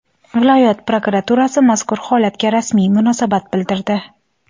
Viloyat prokuraturasi mazkur holatga rasmiy munosabat bildirdi.